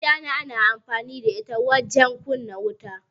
ashana ana amfani da ita wajen kumna wuta